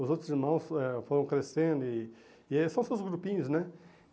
Os outros irmãos foram eh foram crescendo e e é são seus grupinhos, né?